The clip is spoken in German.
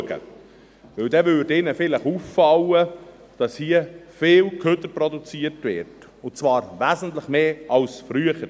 Denn dann fiele ihnen vielleicht auf, dass hier viel Abfall produziert wird, und zwar wesentlich mehr als früher.